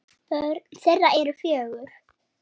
Börn þeirra eru fjögur.